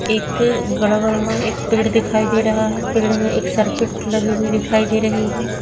एक एक पेड़ दिखाई दे रहा है पेड़ में एक सर्किट लगी हुई दिखाई दे रही है।